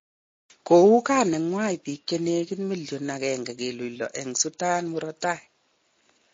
Kouu gaa nenywa biik che negit millionit 1.6 eng Sudan murotai